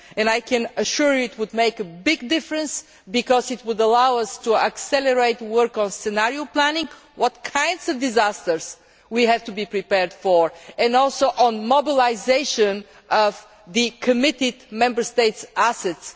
I can assure you it would make a big difference because it would allow us to accelerate work on scenario planning what kinds of disasters we have to be prepared for, and also on modelisation of the committed Member States' assets.